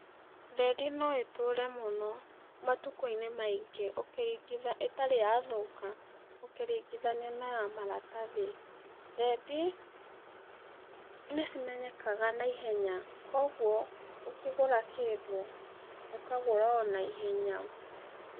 Thendi noĩtũre mũno, matukũ-inĩ maingĩ ũkĩri ĩtarĩ yathũka ũkĩringithania na ya maratathi, thendi, nĩcimenyekaga na ihenya, koguo, ũkĩgũra kĩndũ ũkagũraa naihenya.